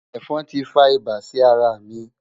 Ẹ̀fọn tí fa ibà sí ara mi.